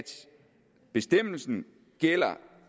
bestemmelsen